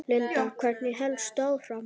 Linda: Hvernig hélstu áfram?